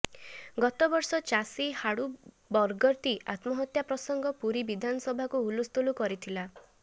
ଗତ ବର୍ଷ ଚାଷୀ ହାଡୁ ବଗର୍ତ୍ତି ଆତ୍ମହତ୍ୟା ପ୍ରସଙ୍ଗ ପୁରା ବିଧାନସଭାକୁ ହୁଲସ୍ତୁଲ କରିଥିଲା